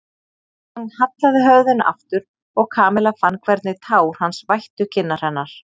Hann hallaði höfðinu aftur og Kamilla fann hvernig tár hans vættu kinnar hennar.